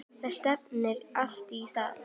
Það stefnir allt í það.